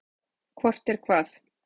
Hvort er hvað?